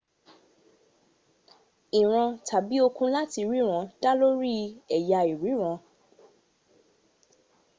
ìran tàbí okun láti ríran dá lórí ẹ̀yà ìríran